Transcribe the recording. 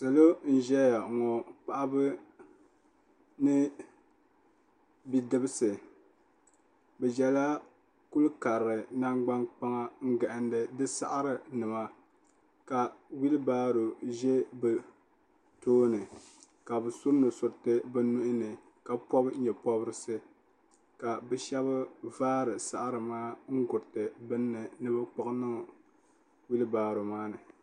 Salo n ʒɛya ŋɔ paɣaba ni bidibisi bɛ ʒɛla kuli karili nangban kpaŋa n gahindi di saɣari nima ka wilibaro ʒɛ bɛ tooni ka bɛ su nusuriti bɛ nuhini ka pobi nyeporisi ka bɛ sheba vaari saɣari maa n guriti niŋdi bini ni ni bɛ kpiɣi niŋ wilibaro maa ni.